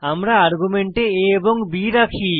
আমরা আর্গুমেন্টে a এবং b রাখি